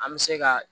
An bɛ se ka